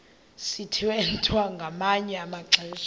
sithwethwa ngamanye amaxesha